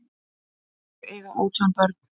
Þau eiga átján börn.